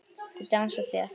Þau dansa þétt.